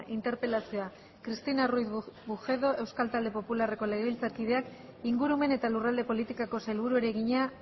interpelazioa cristina ruiz bujedo euskal talde popularreko legebiltzarkideak ingurumen eta lurralde politikako sailburuari egina